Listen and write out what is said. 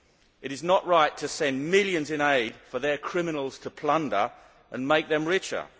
It is not right to send millions in aid for their criminals to plunder and make them richer.